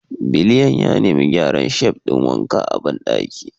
Biliyan ya nemi a gyara shelf ɗin wanka a bandaki